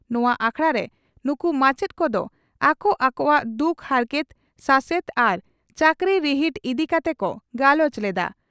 ᱱᱚᱣᱟ ᱟᱠᱷᱲᱟᱨᱮ ᱱᱩᱠᱩ ᱢᱟᱪᱮᱛ ᱠᱚᱫᱚ ᱟᱠᱚ ᱟᱠᱚᱣᱟᱜ ᱫᱩᱠ ᱦᱟᱨᱠᱮᱛ, ᱥᱟᱥᱮᱛ ᱟᱨ ᱪᱟᱹᱠᱨᱤ ᱨᱤᱦᱤᱴ ᱤᱫᱤ ᱠᱟᱛᱮ ᱠᱚ ᱜᱟᱞᱚᱪ ᱞᱮᱫᱼᱟ ᱾